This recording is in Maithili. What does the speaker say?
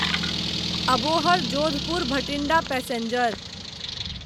अबोहर जोधपुर भटिंडा पैसेंजर